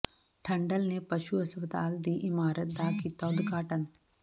ਠੰਡਲ ਨੇ ਪਸ਼ੂ ਹਸਪਤਾਲ ਦੀ ਇਮਾਰਤ ਦਾ ਕੀਤਾ ਉਦਘਾਟਨ